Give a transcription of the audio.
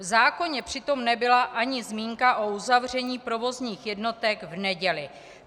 V zákoně přitom nebyla ani zmínka o uzavření provozních jednotek v neděli.